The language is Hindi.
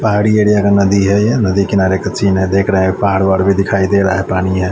पहाड़ी एरिया का नदी है नदी किनारे कुछ ही ना दिख रहा है पहाड़ वहाड़ भी दिखाई दे रहा है पानी है--